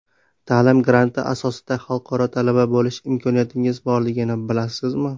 Ta’lim granti asosida xalqaro talaba bo‘lish imkoniyatingiz borligini bilasizmi?.